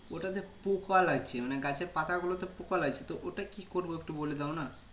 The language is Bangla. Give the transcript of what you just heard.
ওটাতে পোকা লাগছে মানে গাছের পাতা গুলোতে পোকা লাগছে তো ওটা কি করবো একটু বলে দাও না